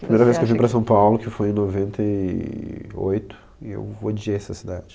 A primeira vez que eu vim para São Paulo, que foi em noventa e oito eu odiei essa cidade.